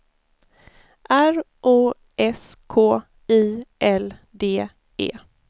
R O S K I L D E